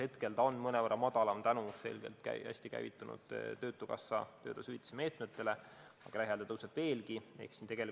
Hetkel ta on mõnevõrra madalam tänu hästi käivitunud töötukassa töötasuhüvitise meetmetele, aga küllap see lähiajal tõuseb.